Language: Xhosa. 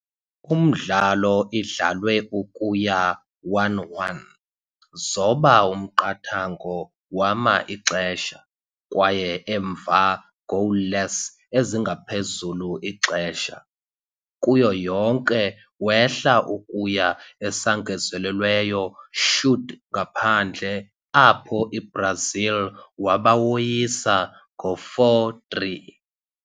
Umdlalo idlalwe ukuya 1-1 zoba umqathango wama-ixesha, kwaye emva goalless ezingaphezulu ixesha, kuyo yonke, wehla ukuya esangezelelweyo shoot-ngaphandle, apho i-Brazil waba woyisa 4-3.